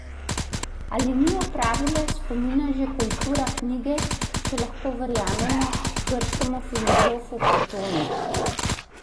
Ali ni odpravila spomina že kultura knjige, če lahko verjamemo grškemu filozofu Platonu?